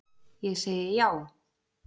Ég segi já.